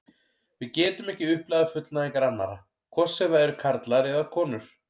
Við getum ekki upplifað fullnægingar annarra, hvort sem það eru karlar eða konur.